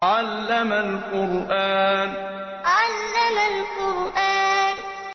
عَلَّمَ الْقُرْآنَ عَلَّمَ الْقُرْآنَ